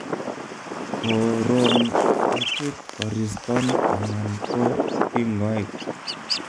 ko ron kochuton koriston anan go ting'oek ?